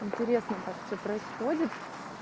интересно так всё происходит